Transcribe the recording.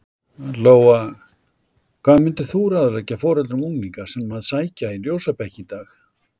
Lóa: Hvað myndir þú ráðleggja foreldrum unglinga sem að sækja í ljósabekki í dag?